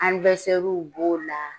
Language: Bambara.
b'o la